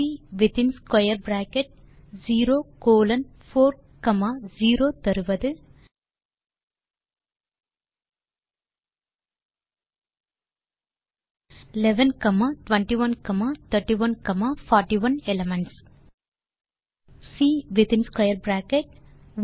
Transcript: C வித்தின் square bracket 0 colon 4 comma 0 11 21 31 41 elements ஐ தருகிறது